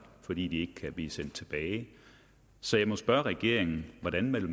fordi de ikke kan blive sendt tilbage så jeg må spørge regeringen hvordan vil